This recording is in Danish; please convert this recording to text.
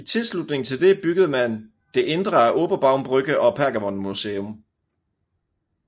I tilslutning til det byggede man det indre af Oberbaumbrücke og Pergamonmuseum